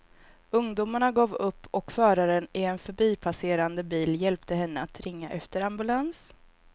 Ungdomarna gav upp och föraren i en förbipasserande bil hjälpte henne att ringa efter ambulans.